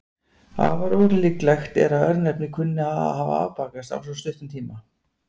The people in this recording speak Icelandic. Afar ólíklegt er að örnefnið kunni að hafa afbakast á svo stuttum tíma.